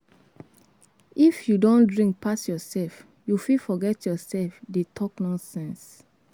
If you don drink pass yourself, you fit forget yourself dey talk nonsense.